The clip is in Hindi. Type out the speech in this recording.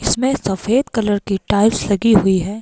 इसमें सफेद कलर की टाइल्स लगी हुई है।